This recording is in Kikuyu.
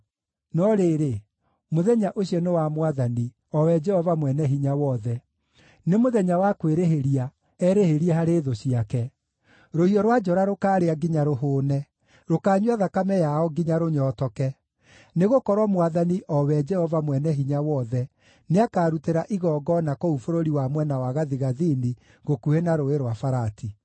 No rĩrĩ, mũthenya ũcio nĩ wa Mwathani, o we Jehova Mwene-Hinya-Wothe: nĩ mũthenya wa kwĩrĩhĩria, erĩhĩrie harĩ thũ ciake. Rũhiũ rwa njora rũkaarĩa nginya rũhũũne, rũkaanyua thakame yao nginya rũnyootoke. Nĩgũkorwo Mwathani, o we Jehova Mwene-Hinya-Wothe, nĩakarutĩra igongona kũu bũrũri wa mwena wa gathigathini gũkuhĩ na Rũũĩ rwa Farati.